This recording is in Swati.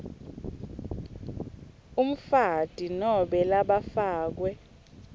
umfati nobe labafakwe